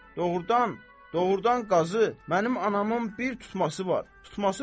Doğurdan, doğurdan Qazı, mənim anamın bir tutması var.